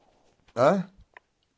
а